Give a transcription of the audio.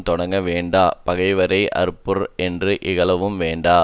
தொடங்க வேண்டா பகைவரை அற்பர் என்று இகழவும் வேண்டா